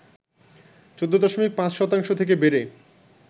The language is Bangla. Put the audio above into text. ১৪.৫শতাংশ থেকে বেড়ে